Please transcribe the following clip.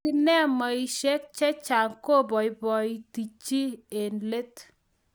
sinemaishek che chang' koboiboiti chii eng' let